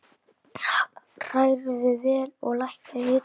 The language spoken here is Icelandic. Hrærðu vel og lækkaðu hitann.